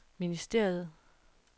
ministeriet